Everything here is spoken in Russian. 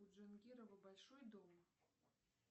у джангирова большой дом